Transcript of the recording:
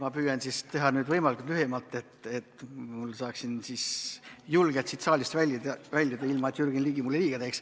Ma püüan teha nüüd lühemalt, et ma saaksin julgelt siit saalist väljuda, ilma et Jürgen Ligi mulle liiga teeks.